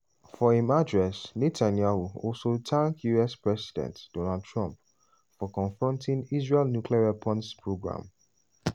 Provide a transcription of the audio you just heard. for im address netanyahu also tank us president donald trump for "confronting israel nuclear weapons programme".